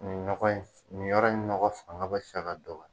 Nin nɔgɔ in, nin yɔrɔ in ɲɔgɔ fanga bɛ fɛ ka dɔgɔya.